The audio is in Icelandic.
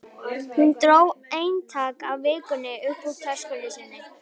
Hún dró eintak af Vikunni upp úr töskunni sinni.